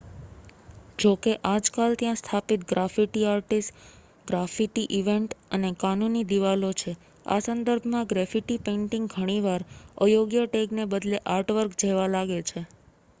"જોકે આજકાલ ત્યાં સ્થાપિત ગ્રાફિટી આર્ટિસ્ટ ગ્રાફિટી ઇવેન્ટ્સ અને "કાનૂની" દીવાલો છે. આ સંદર્ભમાં ગ્રેફિટી પેઇન્ટિંગ ઘણી વાર અયોગ્ય ટેગને બદલે આર્ટવર્ક જેવા લાગે છે.